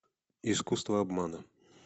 искусство обмана